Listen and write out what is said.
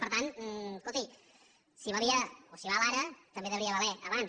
per tant escolti si valia o si val ara també devia valer abans